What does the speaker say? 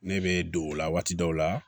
Ne bɛ don o la waati dɔw la